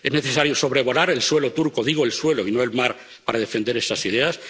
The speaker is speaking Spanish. ¿Es necesario sobrevolar el suelo turco —digo el suelo y no el mar— para defender esas ideas?